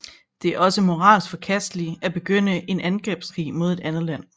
Det er også moralsk forkasteligt at begynde en angrebskrig mod et andet land